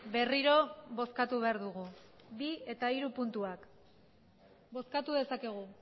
berriro bozkatu behar dugu bi eta hiru puntuak bozkatu dezakegu